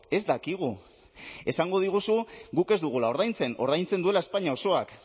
ez dakigu esango diguzu guk ez dugula ordaintzen ordaintzen duela espainia osoak